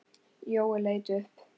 Jói leit upp.